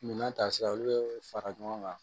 Minan tasira olu bɛ fara ɲɔgɔn kan